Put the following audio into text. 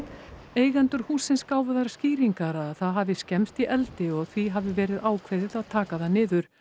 eigendur hússins gáfu þær skýringar að það hafi skemmst í eldi og því hafi verið ákveðið að taka það niður